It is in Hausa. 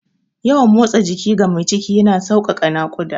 Yawan motsa jiki ga mai ciki yana sauƙaƙe naƙuda.